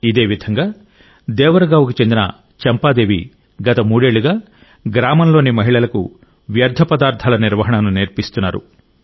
ఇదే విధంగా దేవర్ గావ్ కు చెందిన చంపాదేవి గత మూడేళ్లుగా గ్రామంలోని మహిళలకు వ్యర్థ పదార్థాల నిర్వహణను నేర్పిస్తున్నారు